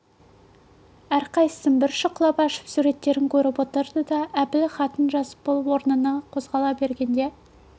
әрқайсысын бір шұқылап ашып суреттерін көріп отырды да әбіл хатын жазып болып орнынан қозғала бергенде